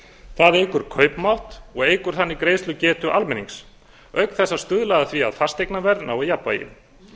það eykur kaupmátt og eykur þannig greiðslugetu almennings auk þess að stuðla að því að fasteignaverð nái jafnvægi